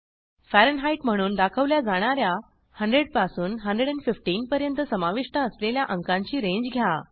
Fahrenheit म्हणून दाखवल्या जाणा या 100 पासून 115 पर्यंत समाविष्ट असलेल्या अंकांची रेंज घ्या